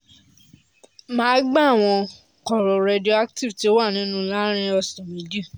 màá gba àwọn kóóró radioactive tí ó wà nínú láàárín ọ̀sẹ̀ méjì